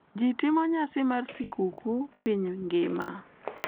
Ji timo nyasi mar skuku piny ngima.